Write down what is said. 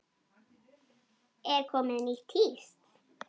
Er komið nýtt tíst?